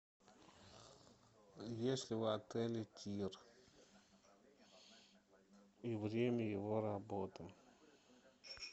есть ли в отеле тир и время его работы